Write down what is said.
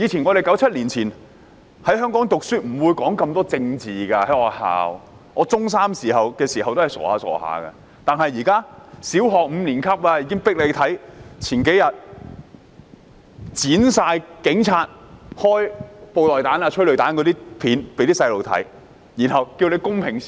1997年前，香港的學校不會討論那麼多政治，我中三時仍很單純，但現在的學校強迫小學五年級的學生觀看警察發射布袋彈、投放催淚彈的剪輯片段，然後請小孩公平思考。